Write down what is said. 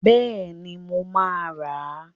Bẹ́ẹ̀ni, mo máa rà.